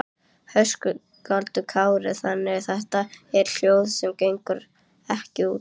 Höskuldur Kári: Þannig þetta eru hjól sem gengu ekki út?